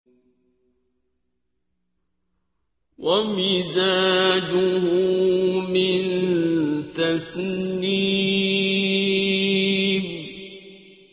وَمِزَاجُهُ مِن تَسْنِيمٍ